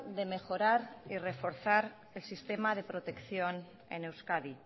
de mejorar y reforzar el sistema de protección en euskadi